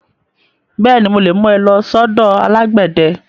Bẹ́ẹ̀ni, mo lè mú ẹ lọ sọ́dọ̀ alágbẹ̀dẹ.